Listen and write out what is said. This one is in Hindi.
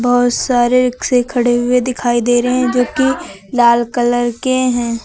बहोत सारे रिक्शे खड़े हुए दिखाई दे रहे हैं जो की लाल कलर के हैं।